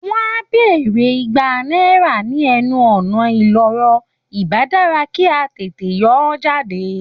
Wọ́n á béèrè Igba náírà ní ẹnu ọ̀nà ìloro, ìbá dára kí á tètè yọ ọ́ jáde